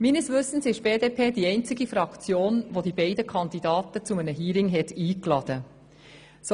Meines Wissens ist die BDP die einzige Fraktion, welche die beiden Kandidaten zu einem Hearing eingeladen hat.